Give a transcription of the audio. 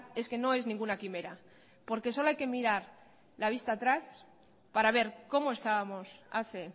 es que no es ninguna quimera porque solo hay que mirar la vista atrás para ver como estábamos hace